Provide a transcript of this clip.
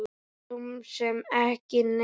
Svo sem ekki neinu.